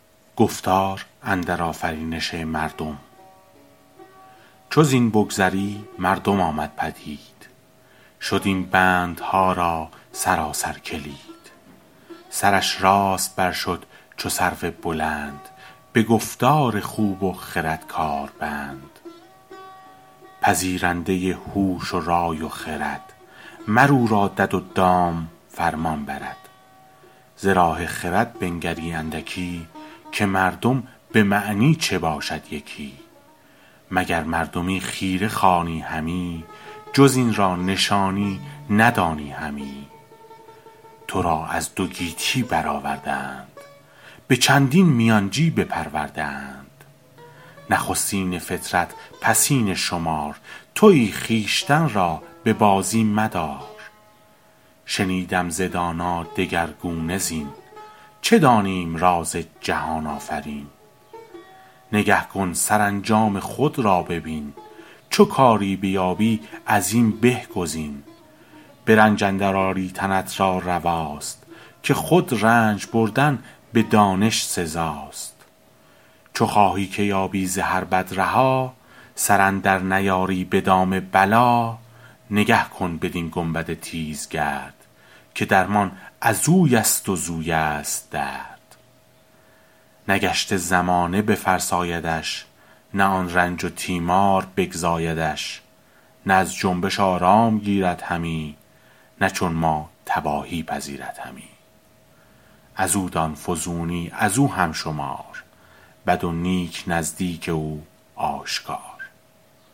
چو زین بگذری مردم آمد پدید شد این بندها را سراسر کلید سرش راست بر شد چو سرو بلند به گفتار خوب و خرد کار بند پذیرنده هوش و رای و خرد مر او را دد و دام فرمان برد ز راه خرد بنگری اندکی که مردم به معنی چه باشد یکی مگر مردمی خیره خوانی همی جز این را نشانی ندانی همی تو را از دو گیتی بر آورده اند به چندین میانچی بپرورده اند نخستین فطرت پسین شمار تویی خویشتن را به بازی مدار شنیدم ز دانا دگرگونه زین چه دانیم راز جهان آفرین نگه کن سرانجام خود را ببین چو کاری بیابی از این به گزین به رنج اندر آری تنت را رواست که خود رنج بردن به دانش سزاست چو خواهی که یابی ز هر بد رها سر اندر نیاری به دام بلا نگه کن بدین گنبد تیزگرد که درمان ازوی است و زویست درد نه گشت زمانه بفرسایدش نه آن رنج و تیمار بگزایدش نه از جنبش آرام گیرد همی نه چون ما تباهی پذیرد همی از او دان فزونی از او هم شمار بد و نیک نزدیک او آشکار